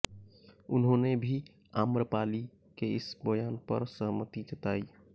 उन्होंने भी आम्रपाली के इस बयान पर सहमति जताई